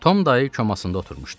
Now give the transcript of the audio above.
Tom dayı komasında oturmuşdu.